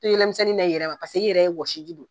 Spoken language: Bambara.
To yɛlɛmisɛnni na i yɛrɛ ma paseke i yɛrɛ wɔsiji dɔ